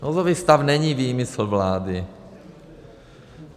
Nouzový stav není výmysl vlády.